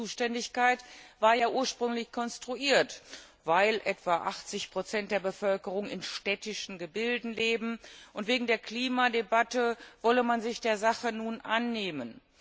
Die Zuständigkeit war ja ursprünglich konstruiert Weil etwa 80 der Bevölkerung in städtischen Gebilden leben und wegen der Klimadebatte wolle man sich der Sache nun annehmen.